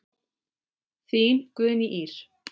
Þín Guðný Ýr.